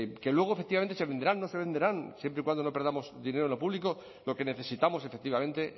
que luego efectivamente se venderán no se venderán siempre y cuando no perdamos dinero en lo público lo que necesitamos efectivamente